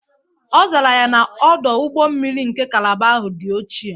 Ọ zara ya na, Ọdụ ụgbọ mmiri nke kalaba ahụ dị ochie.